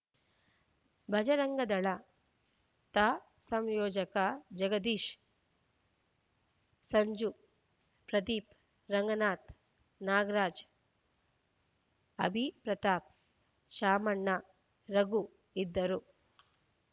ಭಜರಂಗದಳ ತಾ ಸಂಯೋಜಕ ಜಗದೀಶ್‌ ಸಂಜು ಪ್ರದೀಪ್‌ ರಂಗನಾಥ್‌ ನಾಗರಾಜ್‌ ಅಭಿ ಪ್ರತಾಪ್‌ ಶಾಮಣ್ಣ ರಾಘು ಇದ್ದರು